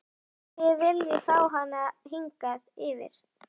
En þið viljið fá hana hingað yfir?